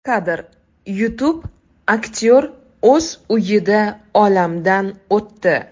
Kadr: YouTube Aktyor o‘z uyida olamdan o‘tdi.